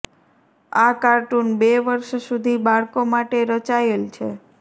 આ કાર્ટુન બે વર્ષ સુધી બાળકો માટે રચાયેલ છે